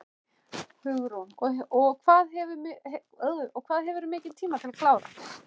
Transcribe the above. Hugrún: Og hvað hefurðu mikinn tíma til að klára?